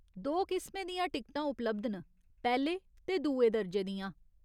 दो किसमें दियां टिकट उपलब्ध न, पैह्‌ले ते दुए दर्जे दियां।